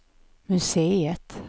museet